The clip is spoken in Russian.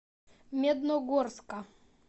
медногорска